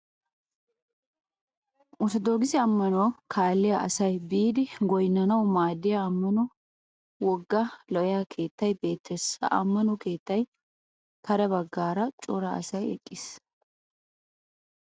Orttodookise ammanuwa kalliyaa asay biiddi goynnanawu maaddiya ammano wogga lo'iya keettay beettes. Ha ammano keetta kare baggaara cora asay eqqis.